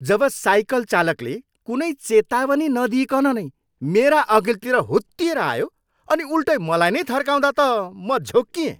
जब cycle चालकले कुनै चेताउनी नदिइकन नै मेरा अघिल्तिर हुत्तिएर आयो अनि उल्टै मलाई नै थर्काउँदा त म झोक्किएँ।